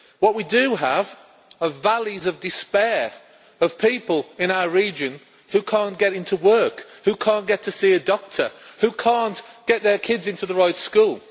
and what we do have are valleys of despair of people in our region who cannot get into work, who cannot get to see a doctor and who cannot get their kids into the right school.